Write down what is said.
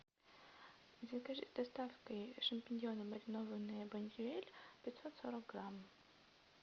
закажи доставкой шампиньоны маринованные бондюэль пятьсот сорок грамм